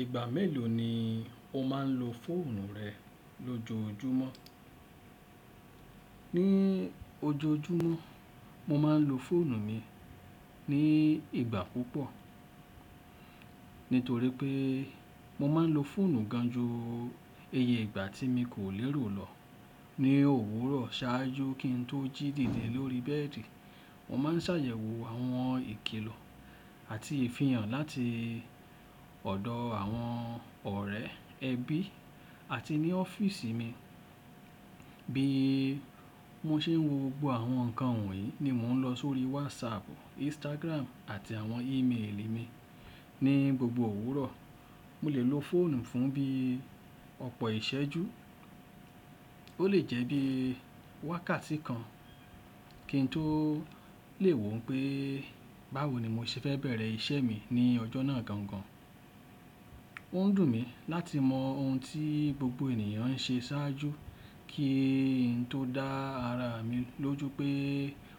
Ìgbà mélòó ni o máa ń lo fóònù rẹ lójoojúmọ́? Ni ojoojúmọ́, mo máa ń lo fóònù mi ní ìgbà púpọ̀. Nítorí pé mo máa ń lo fóònù gan ju iye ìgbà tí mo kò lérò lọ ní òwúrọ̀ ṣáájú kí n tó jí dìde lórí bẹ́ẹ̀dì. Mo máa ń ṣàyẹ̀wò àwọn ìkìlọ̀ àti ìfihàn láti ọ̀dọ̀ àwọn ọ̀rẹ́, ẹbí àti ní ọ́fíìsì mi. Bí mo ṣe ń wo gbogbo àwọn ǹkan wọ̀nyí ni mò ń lọ sórí WhatsApp, Instagram àti àwọn email mi ní gbogbo òwúrọ̀. Mo lè lo fóònù fún bí ọ̀pọ̀ ìṣẹ́jú, ó lè jẹ́ bí wákàtí kan kí n tó lè wò pé báwo ni mo ṣe fẹ́ bẹ̀rẹ̀ iṣẹ́ mi ní ọjọ́ náà gangan. Ó ń dùn mí láti mọ ohun tí gbogbo ènìyàn ń ṣe ṣáájú kí n tó dá ara mi lójú pé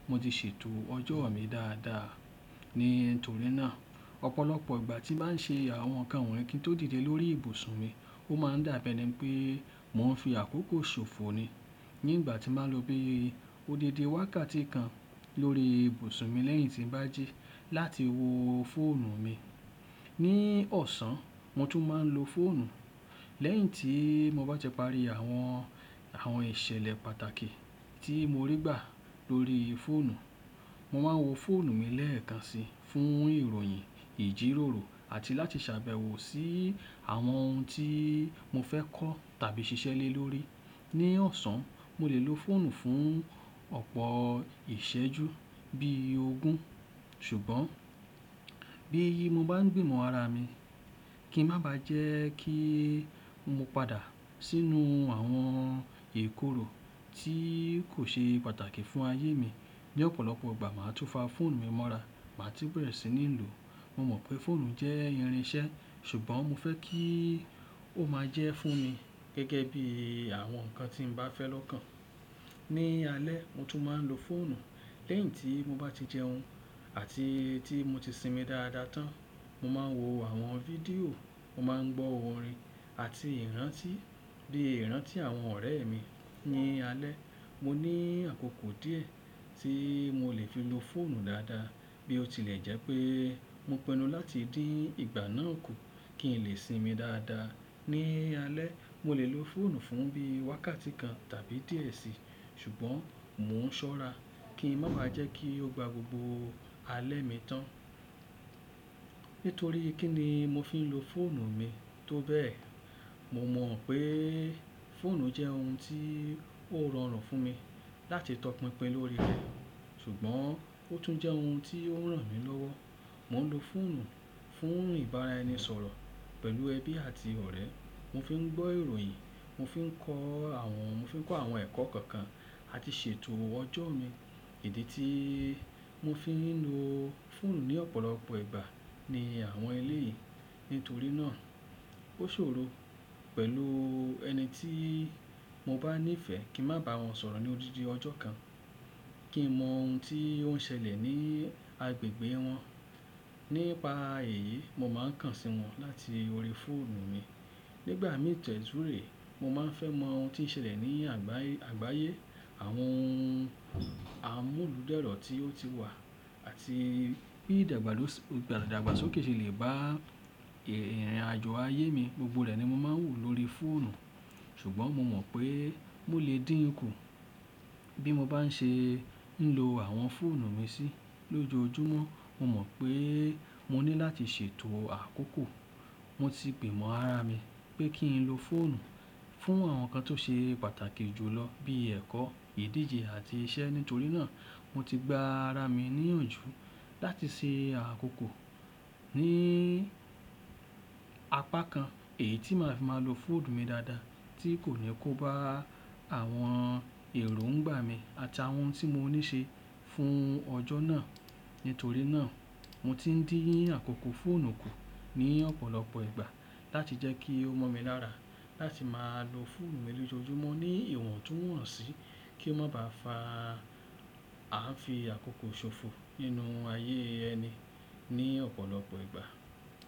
mo ti ṣètò ọjọ́ mi dáadáa. Nítorí náà, ọ̀pọ̀lọpọ̀ ìgbà tí bá n ṣe àwọn ǹkan wọ̀nyí kí n tó dìde lórí ibùsùn mi, ó máa ń dàbẹ́ ni pé mò ń fi àkókò ṣòfò ni. Ní ìgbà tí màá lo bí odidi wákàtí kan lórí ibùsùn mi lẹ́yìn tí n bá jí láti wo fóònù mi. Ni ọ̀sán, mo tún máa ń lo fóònù lẹ́yìn tí mo bá ti pàrí àwọn, àwọn ìṣẹ̀lẹ̀ pàtàkì tí mo rí gbà lórí fóònù. Mo máa ń wo fóònù mi lẹ́ẹ̀kan si fún ìròyìn, ìjírórò àti láti sàbẹ̀wò sí àwọn ohun tí mo fẹ́ kọ́ tàbí ṣiṣẹ́ lé lórí. Ni ọ̀sán, mo lè lo fóònù fún ọ̀pọ̀ ìṣẹ́jú bí ogún. Ṣùgbọ́n bí yi mo bá n gbìmọ̀ ara mi kí n má ba jẹ́ kí mo padà sínú àwọn ìkórò tí kò ṣe pàtàkì fún ayé mi. Bí ọ̀pọ̀lọpọ̀ ìgbà máa tún fa fóònù mi mọ́ra máà tí bẹ̀rẹ̀ sí ní lò. Mo mọ̀ pé fóònù jẹ́ irin iṣẹ́ ṣùgbọ́n mo fẹ́ kí ó máa jẹ́ fún mi gẹ́gẹ́ bí àwọn ǹkan tí mo bá fẹ́ lọ́ kan. Ni alẹ́, mo tún máa ń lo fóònù lẹ́yìn tí mo bá ti jẹun àti tí mo ti sinmi dáadáa tán. Mo máa ń wo àwọn fídíò, mo máa ń gbọ́ orin àti ìrántí bí ìrántí àwọn ọ̀rẹ́ mi. Ni alẹ́, mo ní àkókò díẹ̀ tí mo lè fi lo fóònù dáadáa bí ó tilẹ̀ jẹ́ pé mo pinnu láti dín ìgbà náà kù kí n lè sinmi dáadáa. Ni alẹ́, mo lè lo fóònù fún bí wákàtí kan tàbí díẹ̀ sí i ṣùgbọ́n mò ń ṣọ́ra kí n má ba jẹ́ kí ó gba gbogbo alẹ́ mi tán. Nítorí kí ni mo fi ń lo fóònù mi tó bẹ́ẹ̀. Mo mọ̀ pé fóònù jẹ́ ohun tí ó rọrùn fún mi láti tọpinpin lórí rẹ̀ ṣùgbọ́n ó tún jẹ́ ohun tí ó ń ràn mí lọ́wọ́. Mo ń lo fóònù fún ìbára ẹni sọ̀rọ̀ pẹ̀lú ẹbí àti ọ̀rẹ́, mo fi ń gbọ́ ìròyìn, mo fi ń kọ́ àwọn, mo fi ń kọ́ àwọn ẹ̀kọ́ kọ̀ọ̀kan àti ṣètò ọjọ́ mi. Ìdí tí mo fi ń lo fóònù ní ọ̀pọ̀lọpọ̀ ìgbà ni àwọn elé yìí. Nítorí náà ó ṣòro pẹ̀lú ẹni tí mo bá ní ìfẹ́ kí n má bá wọn sọ̀rọ̀ ní odidi ọjọ́ kan, kí n mọ ohun tí ó ń ṣẹlẹ̀ ní agbègbè wọn. Nípa èyí, mo máa ń kàn sí wọn láti orí fóònù mi. Nígbà mí tọ̀ ẹ túré, mo máa ń fẹ́ mọ ohun tí ń ṣẹlẹ̀ ní àgbáyé, àwọn amúlùdẹ̀rọ̀ tí ó ti wà àti bí ìdàgbàsókè ṣe lè bá ìrìnàjò ayé mi. Gbogbo rẹ̀ ni mo máa ń wò lóri fóònù. Ṣùgbọ́n mo mọ̀ pé mo lè dín kú bí mo bá n ṣe ń lo àwọn fóònù mi sí lójoojúmọ́. Mo mọ̀ pé mo ní láti ṣètò àkókò. Mo ti gbìmọ̀ ara mi pé kí n lo fóònù fún àwọn ǹkan tó ṣe pàtàkì jù lọ bí ẹ̀kọ́, ìdíje àti iṣẹ́. Nítorí náà mo ti gba ara mi níyànjú láti ṣe àkókò ní apá kan èyí tí màá fi máa lo fóònù mi dáadáa tí kò ní kó bá àwọn èrò ń gbà mí àti àwọn ohun tí mo ní ṣe fún ọjọ́ náà. Nítorí náà mo ti ń dín àkókò fóònù kù ní ọ̀pọ̀lọpọ̀ ìgbà láti jẹ́ kí ó mọ̀ mi lára láti máa lo fóònù mi lójoojúmọ́ ní ìwọ̀n tó wọ̀nsì kí ó má bá fa ààfin àkókò ṣòfò nínú ayé ẹni ní ọ̀pọ̀lọpọ̀ ìgbà.